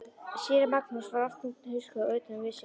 Séra Magnús var oft þungt hugsi og utan við sig.